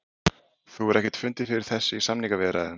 Þú hefur ekkert fundið fyrir þessu í samningaviðræðum?